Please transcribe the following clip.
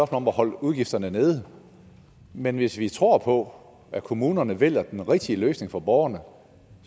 om at holde udgifterne nede men hvis vi tror på at kommunerne vælger den rigtige løsning for borgerne